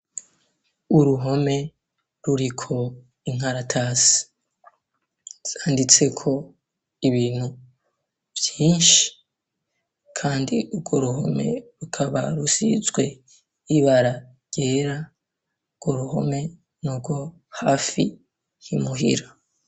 Uruhome ruriko inkaratasi yanditse ko ibintu vyinshi kandi urwo ruhome rukaba rusizwe ibara ryera urwo ruhome n'urwo hafi y'imuhira.